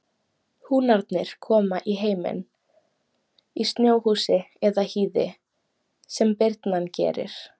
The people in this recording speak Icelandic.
Húnarnir koma í heiminn í snjóhúsi eða hýði sem birnan gerir.